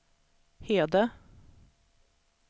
Hede